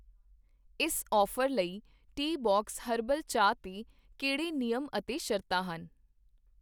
ਇਸ ਔਫ਼ਰ ਲਈ Teabox herbal ਚਾਹ 'ਤੇ ਕਿਹੜੇ ਨਿਯਮ ਅਤੇ ਸ਼ਰਤਾਂ ਹਨ?